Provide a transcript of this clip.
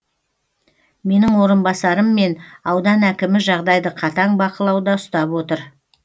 менің орынбасарым мен аудан әкімі жағдайды қатаң бақылауда ұстап отыр